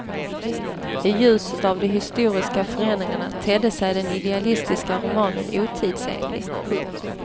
I ljuset av de historiska förändringarna tedde sig den idealistiska romanen otidsenlig. punkt